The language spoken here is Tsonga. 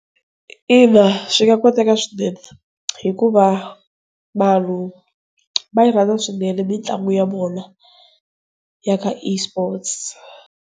Ina, swi nga koteka swinene hikuva vanhu va yirhandza swinene mitlangu ya vona ya ka eSport.